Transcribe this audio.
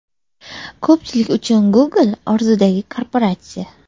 Ko‘pchilik uchun Google orzudagi korporatsiya.